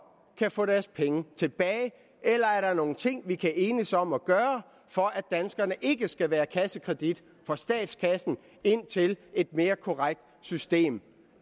kan få deres penge tilbage eller er der nogle ting vi kan enes om at gøre for at danskerne ikke skal være kassekredit for statskassen indtil et mere korrekt system